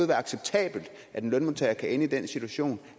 være acceptabelt at en lønmodtager kan ende i den situation